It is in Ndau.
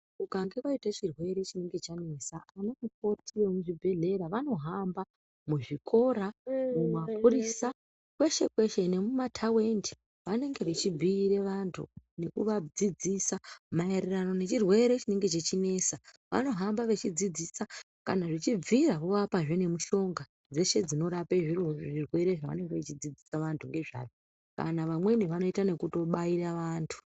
Ukange vaite chirwere chinenge chanesa anamukoti emuzvibhedhlera vanohamba muzvikora mumapurisa kweshe-kweshe, nemumatavindi vanenge vechibhuire vantu nekuvadzisa maererano nechirwere chinenge chechinesa. Vanohamba vachidzidzisa kana zvichibvira vovapazve nemihlonga dzeshe dzinorape zviro zvirwere zvavanenge vachidzidzisa vantu ngezvazvo kana vamweni vanoita nekubaira vantu.